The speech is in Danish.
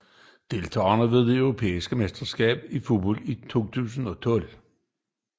Deltagere ved det europæiske mesterskab i fodbold 2012